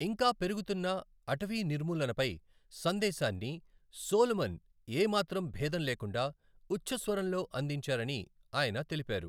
ఇంకా పెరుగుతున్న అటవీ నిర్మూలనపై సందేశాన్ని సోలమన్ ఏ మాత్రం భేదం లేకుండా ఉచ్చస్వరంలో అందించారని ఆయన తెలిపారు.